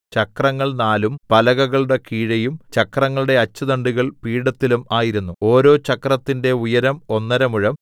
ചക്രങ്ങൾ നാലും പലകകളുടെ കീഴെയും ചക്രങ്ങളുടെ അച്ചുതണ്ടുകൾ പീഠത്തിലും ആയിരുന്നു ഓരോ ചക്രത്തിന്റെ ഉയരം ഒന്നര മുഴം